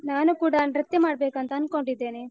ನಾನು ಕೂಡ ನೃತ್ಯ ಮಾಡ್ಬೇಕಂತ ಅನ್ಕೊಂಡಿದ್ದೇನೆ.